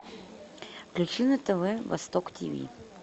включи на тв восток тв